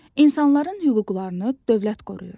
İnsanların hüquqlarını dövlət qoruyur.